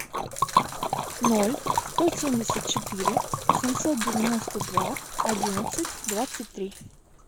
ноль сто семьдесят четыре семьсот девяносто два одиннадцать двадцать три